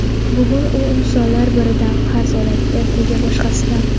Bugun u insonlar biridan qarz oladi, ertaga boshqasidan.